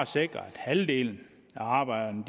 sikre at halvdelen af arbejderne